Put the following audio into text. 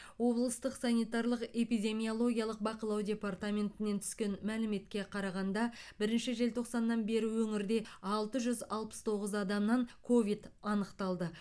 облыстық санитарлық эпидемиологиялық бақылау департаментінен түскен мәліметке қарағанда бірінші желтоқсаннан бері өңірде алты жүз алпыс тоғыз адамнан ковид анықталды